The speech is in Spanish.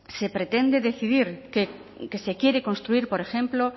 se pretende decidir que se quiere construir por ejemplo